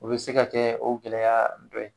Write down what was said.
U bɛ se ka kɛ o gɛlɛya dɔ ye.